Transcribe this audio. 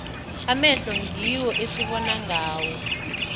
amehlo ngiwo esibona ngawo